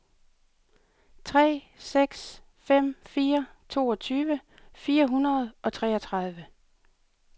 tre seks fem fire toogtyve fire hundrede og treogtredive